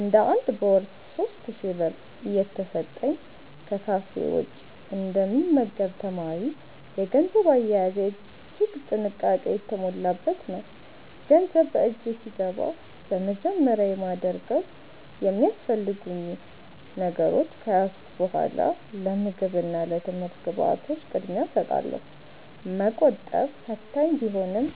እንደ አንድ በወር 3,000 ብር እየተሰጠኝ ከካፌ ውጭ እንደ ሚመገብ ተማሪ፤ የገንዘብ አያያዜ እጅግ ጥንቃቄ የተሞላበት ነው። ገንዘብ በእጄ ሲገባ በመጀመሪያ የማደርገው የሚያስፈልጉኝ ነገሮች ከያዝኩ በኃላ ለምግብ እና ለትምህርት ግብዓቶች ቅድሚያ እሰጣለሁ። መቆጠብ ፈታኝ ቢሆንም፤